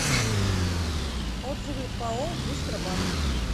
отзывы пао быстробанк